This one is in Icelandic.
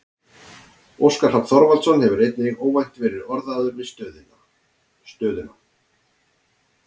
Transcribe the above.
Óskar Hrafn Þorvaldsson hefur einnig óvænt verið orðaður við stöðuna.